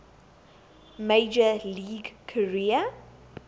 major league career